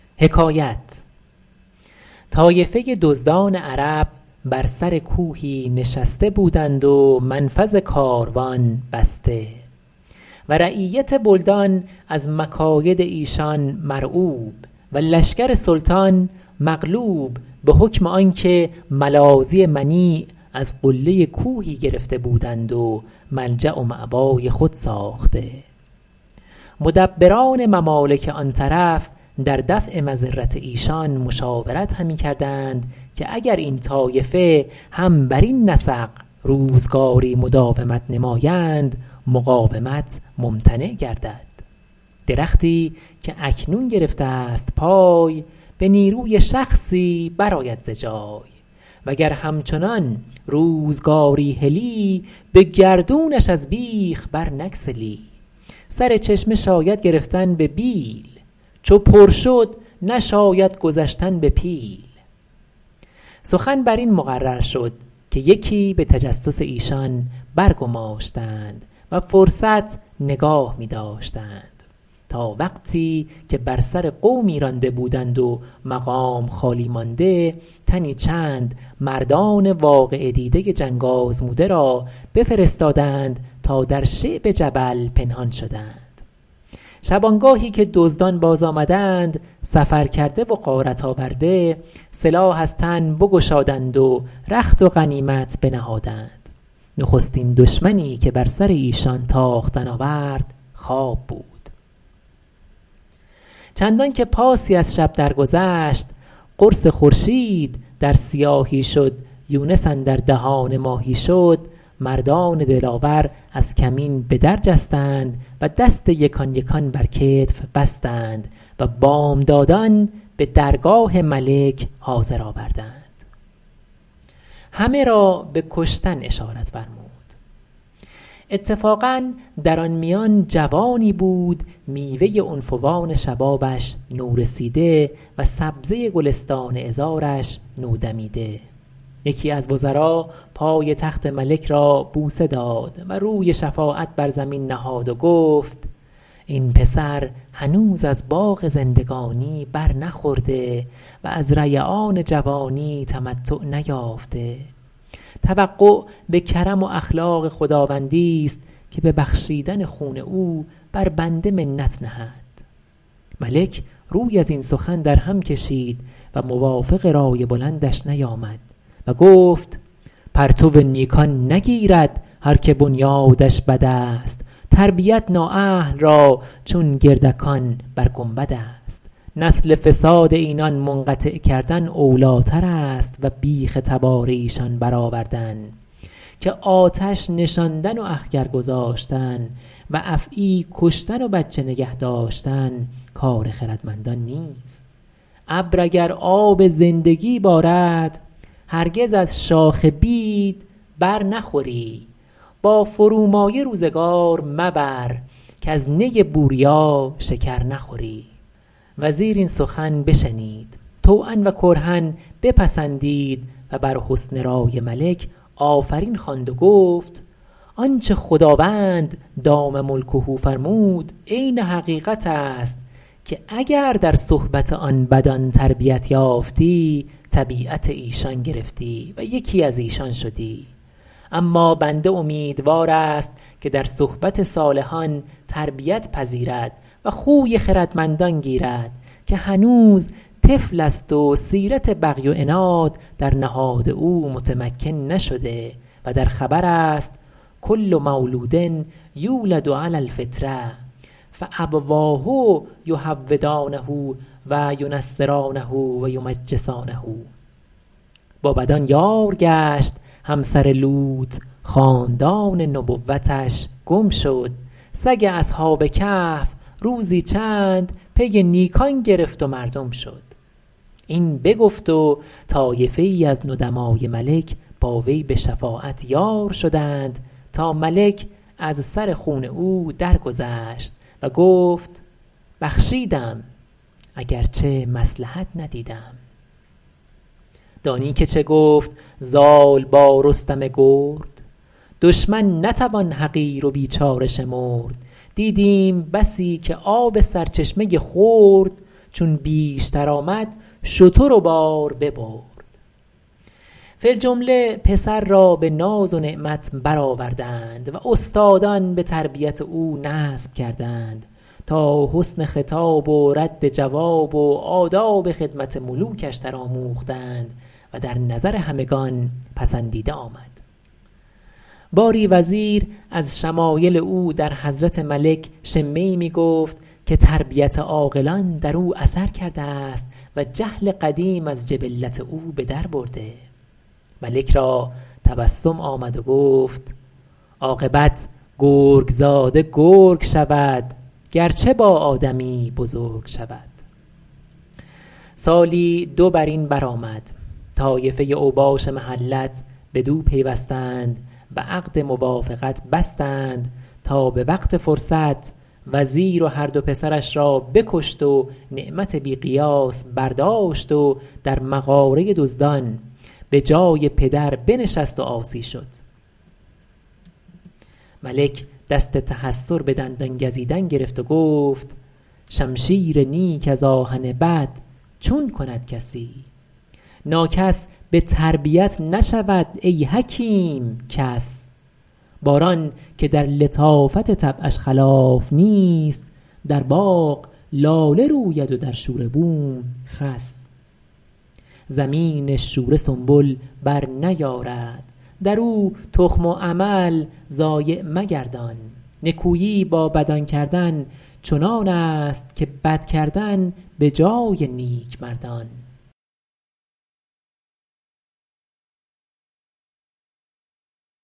طایفه دزدان عرب بر سر کوهی نشسته بودند و منفذ کاروان بسته و رعیت بلدان از مکاید ایشان مرعوب و لشکر سلطان مغلوب به حکم آنکه ملاذی منیع از قله کوهی گرفته بودند و ملجأ و مأوای خود ساخته مدبران ممالک آن طرف در دفع مضرت ایشان مشاورت همی کردند که اگر این طایفه هم برین نسق روزگاری مداومت نمایند مقاومت ممتنع گردد درختی که اکنون گرفته ست پای به نیروی شخصی برآید ز جای و گر همچنان روزگاری هلی به گردونش از بیخ بر نگسلی سر چشمه شاید گرفتن به بیل چو پر شد نشاید گذشتن به پیل سخن بر این مقرر شد که یکی به تجسس ایشان برگماشتند و فرصت نگاه می داشتند تا وقتی که بر سر قومی رانده بودند و مقام خالی مانده تنی چند مردان واقعه دیده جنگ آزموده را بفرستادند تا در شعب جبل پنهان شدند شبانگاهی که دزدان باز آمدند سفرکرده و غارت آورده سلاح از تن بگشادند و رخت و غنیمت بنهادند نخستین دشمنی که بر سر ایشان تاختن آورد خواب بود چندان که پاسی از شب در گذشت قرص خورشید در سیاهی شد یونس اندر دهان ماهی شد مردان دلاور از کمین به در جستند و دست یکان یکان بر کتف بستند و بامدادان به درگاه ملک حاضر آوردند همه را به کشتن اشارت فرمود اتفاقا در آن میان جوانی بود میوه عنفوان شبابش نورسیده و سبزه گلستان عذارش نودمیده یکی از وزرا پای تخت ملک را بوسه داد و روی شفاعت بر زمین نهاد و گفت این پسر هنوز از باغ زندگانی بر نخورده و از ریعان جوانی تمتع نیافته توقع به کرم و اخلاق خداوندی ست که به بخشیدن خون او بر بنده منت نهد ملک روی از این سخن در هم کشید و موافق رای بلندش نیامد و گفت پرتو نیکان نگیرد هر که بنیادش بد است تربیت نااهل را چون گردکان بر گنبد است نسل فساد اینان منقطع کردن اولی تر است و بیخ تبار ایشان بر آوردن که آتش نشاندن و اخگر گذاشتن و افعی کشتن و بچه نگه داشتن کار خردمندان نیست ابر اگر آب زندگی بارد هرگز از شاخ بید بر نخوری با فرومایه روزگار مبر کز نی بوریا شکر نخوری وزیر این سخن بشنید طوعا و کرها بپسندید و بر حسن رای ملک آفرین خواند و گفت آنچه خداوند دام ملکه فرمود عین حقیقت است که اگر در صحبت آن بدان تربیت یافتی طبیعت ایشان گرفتی و یکی از ایشان شدی اما بنده امیدوار است که در صحبت صالحان تربیت پذیرد و خوی خردمندان گیرد که هنوز طفل است و سیرت بغی و عناد در نهاد او متمکن نشده و در خبر است کل مولود یولد علی الفطرة فأبواه یهودانه و ینصرانه و یمجسانه با بدان یار گشت همسر لوط خاندان نبوتش گم شد سگ اصحاب کهف روزی چند پی نیکان گرفت و مردم شد این بگفت و طایفه ای از ندمای ملک با وی به شفاعت یار شدند تا ملک از سر خون او درگذشت و گفت بخشیدم اگرچه مصلحت ندیدم دانی که چه گفت زال با رستم گرد دشمن نتوان حقیر و بیچاره شمرد دیدیم بسی که آب سرچشمه خرد چون بیشتر آمد شتر و بار ببرد فی الجمله پسر را به ناز و نعمت بر آوردند و استادان به تربیت او نصب کردند تا حسن خطاب و رد جواب و آداب خدمت ملوکش در آموختند و در نظر همگنان پسندیده آمد باری وزیر از شمایل او در حضرت ملک شمه ای می گفت که تربیت عاقلان در او اثر کرده است و جهل قدیم از جبلت او به در برده ملک را تبسم آمد و گفت عاقبت گرگ زاده گرگ شود گرچه با آدمی بزرگ شود سالی دو بر این بر آمد طایفه اوباش محلت بدو پیوستند و عقد موافقت بستند تا به وقت فرصت وزیر و هر دو پسرش را بکشت و نعمت بی قیاس برداشت و در مغاره دزدان به جای پدر بنشست و عاصی شد ملک دست تحیر به دندان گزیدن گرفت و گفت شمشیر نیک از آهن بد چون کند کسی ناکس به تربیت نشود ای حکیم کس باران که در لطافت طبعش خلاف نیست در باغ لاله روید و در شوره بوم خس زمین شوره سنبل بر نیارد در او تخم و عمل ضایع مگردان نکویی با بدان کردن چنان است که بد کردن به جای نیک مردان